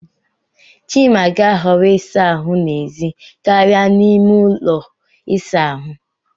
Chima ga-ahọrọ ịsa ahụ n'èzí karịa n'ime ụlọ ịsa ahụ.